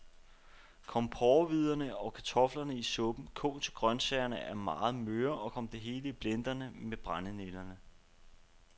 Kom porrehvider og kartofler i suppen, kog til grøntsagerne er meget møre, og kom det hele i blenderen med brændenælderne.